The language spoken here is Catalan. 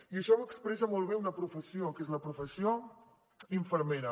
i això ho expressa molt bé una professió que és la professió infermera